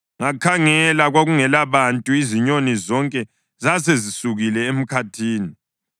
Ngakhangela, kwakungelabantu, izinyoni zonke zasezisukile emkhathini.